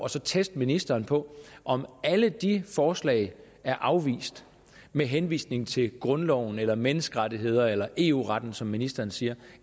så teste ministeren på om alle de forslag er afvist med henvisning til grundloven eller menneskerettighederne eller eu retten som ministeren siger